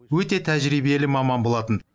өте тәжірибелі маман болатын